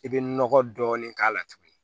I bɛ nɔgɔ dɔɔni k'a la tuguni